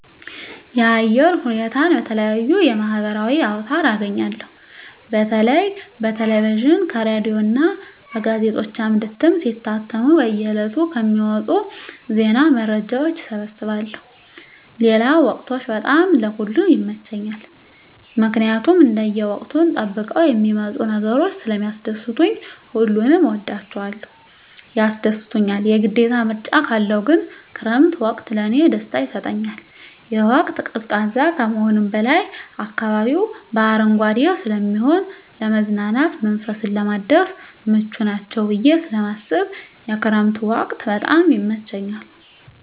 የአየር ሁኔታን በተለየዩ የማህበራዊ አውታር አገኛለሁ በተለይ በቴሌቪዥን ከሬዲዮ እና በጋዜጦች አምድ እትም ሲታተሙ በየ ዕለቱ ከሚወጡ ዜና መረጃዎች እሰበስባለሁ ሌለው ወቅቶች በጣም ለእ ሁሉም ይመቸኛል ምክኒያት እንደየ ወቅቱን ጠብቀው የሚመጡ ነገሮች ስለሚስደስቱኝ ሁሉንም እወዳቸዋለሁ ያስደስቱኛል የግዴታ ምርጫ ካለው ግን ክረምት ወቅት ለእኔ ደስታ ይሰጠኛል ይህ ወቅት ቀዝቃዛ ከመሆኑም በላይ አካባቢው በአረንጓዴ ስለሚሆን ለመዝናናት መንፈስን ለማደስ ምቹ ናቸው ብየ ስለማስብ የክረምት ወቅት በጣም ይመቸኛል።